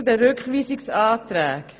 Nun zum Rückweisungsantrag.